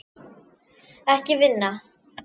Ekki vinna.